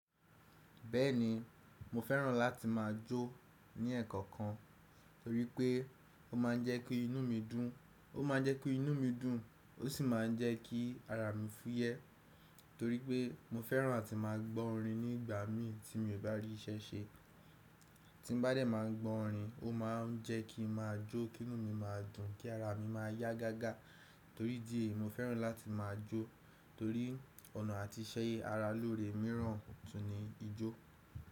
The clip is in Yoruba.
Bẹ́ẹ̀ni, mo fẹ́ràn láti máa jó ní ẹ̀kan kan torí pé ó má ń jẹ́ kí inú mi dùn, ó má ń jẹ́ kí inú mi dùn, ó sì má ń jẹ́ kí ara mi fúyẹ́ torí pé mo fẹ́ràn áti má a gbọ́ orin ní ìgbà mí tí mo bá rí iṣẹ́ ṣe. Tí n bá dẹ̀ má a gbọ́ orin, ó má ń jẹ́ kí mo má jó, kí inú mi máa dùn, kí ara mi máa yá gágá torí idí eyi mo fẹ́ràn láti máa jó torí ọ̀nà àti ṣe ẹyẹ ara lóore míràn tún ní ijó.